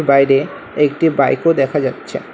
বাইরে একটি বাইকও দেখা যাচ্ছে।